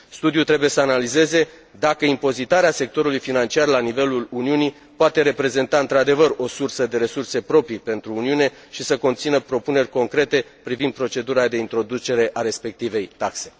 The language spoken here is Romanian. Studiul trebuie să analizeze dacă impozitarea sectorului financiar la nivelul Uniunii poate reprezenta, într adevăr, o sursă de resurse proprii pentru Uniune și să conțină propuneri concrete privind procedura de introducere a respectivei taxe.